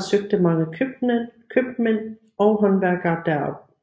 søgte mange købmænd og håndværkere derop